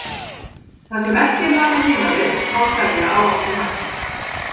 Það sem ekki er notað heima við má selja á opnum markaði.